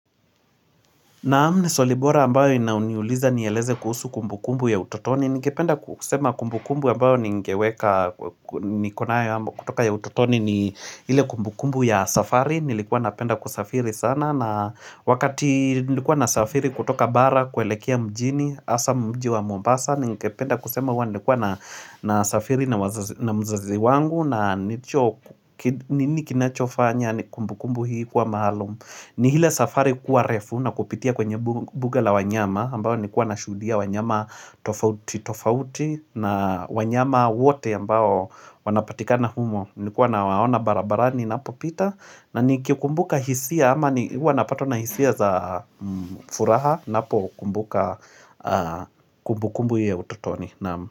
Naam ni Swali bora ambayo inayoniuliza nieleze kuhusu kumbu kumbu ya utotoni. Ningependa kusema kumbu kumbu ambayo ningeweka niko nayo ambayo kutoka ya utotoni ni ile kumbu kumbu ya safari. Nilikuwa napenda kusafiri sana na wakati nilikuwa nasafiri kutoka bara kuelekea mjini hasa mji wa mombasa. Ningependa kusema huwa nilikuwa na safiri na mzazi wangu na nini kinachofanya ni kumbu kumbu hii kuwa maalum ni ile safari kuwa refu na kupitia kwenye buga la wanyama ambayo nikuwa nashudia wanyama tofauti na wanyama wote ambayo wanapatikana humo Nilikuwa nawaona barabarani napopita na nikikumbuka hisia ama ni huwa napatwa na hisia za furaha Napo kumbuka kumbu kumbu hii ya utotoni.